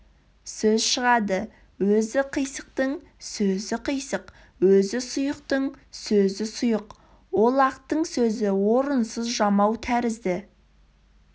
сөз шығады өзі қисықтың сөзі қисық өзі сұйықтың сөзі сұйық олақтың сөзі орынсыз жамау тәрізді